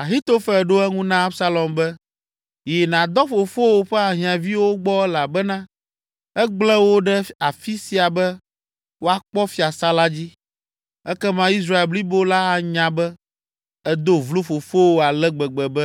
Ahitofel ɖo eŋu na Absalom be, “Yi nàdɔ fofowò ƒe ahiãviwo gbɔ elabena egblẽ wo ɖe afi sia be woakpɔ fiasã la dzi. Ekema Israel blibo la anya be, èdo vlo fofowò ale gbegbe be